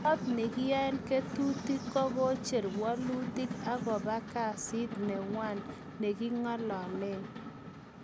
Kot nekinyae ketutik kokocher welutik akopa kesit newaang ngengalalen.